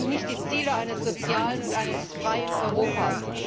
Das sind nicht die Ziele eines sozialen und freien Europas.